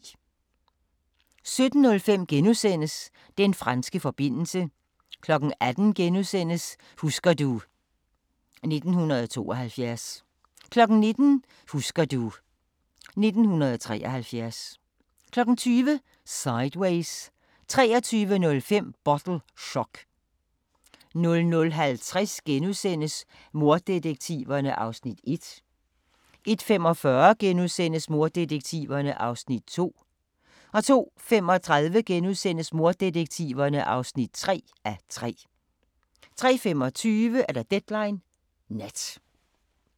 17:05: Den franske forbindelse * 18:00: Husker du ... 1972 * 19:00: Husker du ... 1973 20:00: Sideways 23:05: Bottle Shock 00:50: Morddetektiverne (1:3)* 01:45: Morddetektiverne (2:3)* 02:35: Morddetektiverne (3:3)* 03:25: Deadline Nat